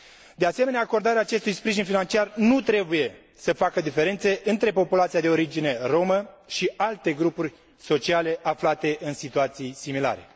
De asemenea, acordarea acestui sprijin financiar nu trebuie să facă diferențe între populația de origine romă și alte grupuri sociale aflate în situații similare.